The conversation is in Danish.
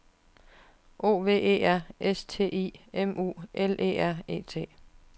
O V E R S T I M U L E R E T